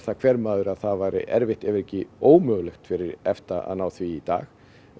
hver maður að það væri erfitt ef ekki ómögulegt fyrir EFTA að ná því í dag